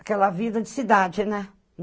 Aquela vida de cidade, né?